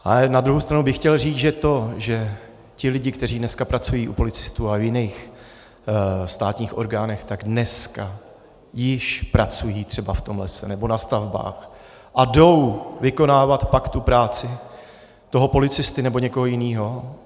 Ale na druhou stranu bych chtěl říct, že to, že ti lidé, kteří dneska pracují u policistů a v jiných státních orgánech, tak dneska již pracují třeba v tom lese nebo na stavbách a jdou vykonávat pak tu práci toho policisty nebo někoho jiného.